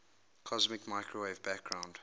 cosmic microwave background